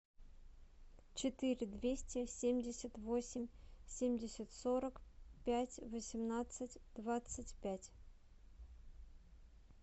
четыре двести семьдесят восемь семьдесят сорок пять восемнадцать двадцать пять